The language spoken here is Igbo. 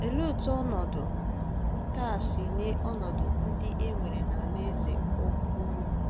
Olee otú ọnọdụ taa si yie ọnọdụ ndị e nwere n'Alaeze Ukwu Rom?